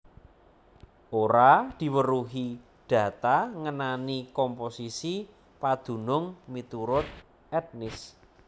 Ora diweruhi data ngenani komposisi padunung miturut etnis